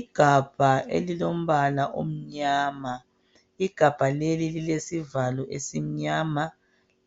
Igabha elilombala omnyama, igabha leli lilesivalo esimnyama,